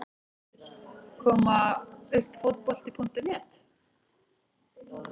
Koma uppfotbolti.net